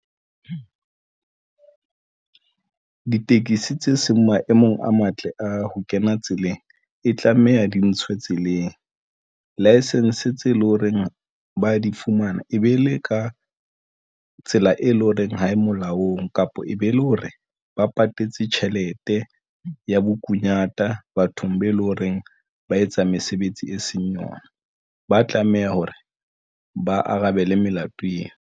Ditekesi tse seng maemong a matle a ho kena tseleng e tlameha di ntshwe tseleng. License tse leng horeng ba di fumana e be le ka tsela e leng hore ha e molaong kapa e be e le hore ba patetse tjhelete ya bokunyata bathong be eleng horeng ba etsa mesebetsi e seng yona, ba tlameha hore ba arabele melato eo.